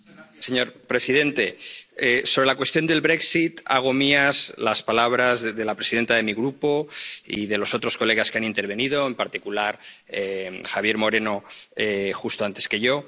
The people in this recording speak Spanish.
Señor presidente, sobre la cuestión del hago mías las palabras de la presidenta de mi grupo y de los otros colegas que han intervenido, en particular, Javier Moreno, justo antes que yo.